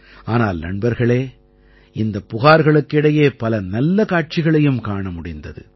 ஆனால் நண்பர்களே இந்தப் புகார்களுக்கு இடையே பல நல்ல காட்சிகளையும் காண முடிந்தது